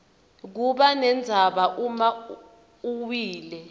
kubanendzala uma uwile